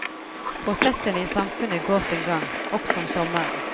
Prosessene i samfunnet går sin gang, også om sommeren.